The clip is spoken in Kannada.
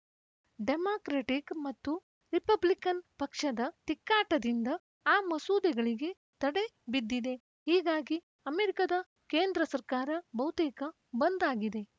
ಡೆಮಾಕ್ರೆಟಿಕ್‌ ಮತ್ತು ರಿಪಬ್ಲಿಕನ್‌ ಪಕ್ಷದ ತಿಕ್ಕಾಟದಿಂದ ಆ ಮಸೂದೆಗಳಿಗೆ ತಡೆ ಬಿದ್ದಿದೆ ಹೀಗಾಗಿ ಅಮೆರಿಕದ ಕೇಂದ್ರ ಸರ್ಕಾರ ಬಹುತೇಕ ಬಂದ್‌ ಆಗಿದೆ